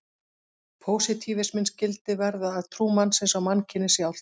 Pósitífisminn skyldi verða að trú mannsins á mannkynið sjálft.